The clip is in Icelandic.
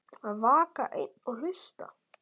Að vaka einn og hlusta